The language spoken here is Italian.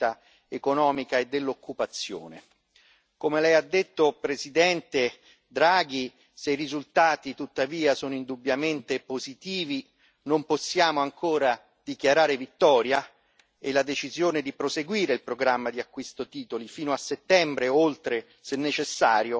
Come lei ha detto, Presidente Draghi, se i risultati tuttavia sono indubbiamente positivi, non possiamo ancora dichiarare vittoria, e la decisione di proseguire il programma di acquisto titoli fino a settembre, e oltre se necessario, è quindi pienamente condivisibile.